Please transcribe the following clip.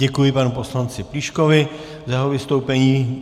Děkuji panu poslanci Plíškovi za jeho vystoupení.